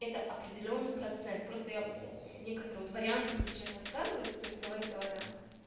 это определённый процент просто я некоторые вот варианты буду сейчас рассказывать то есть говорить о вариантах